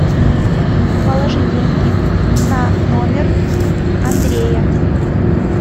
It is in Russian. положи деньги на номер андрея